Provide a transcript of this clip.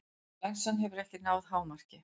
Flensan hefur ekki náð hámarki.